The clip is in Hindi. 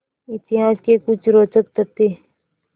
इतिहास के कुछ रोचक तथ्य